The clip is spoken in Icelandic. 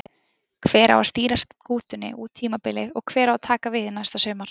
Hver á að stýra skútunni út tímabilið og hver á að taka við næsta sumar?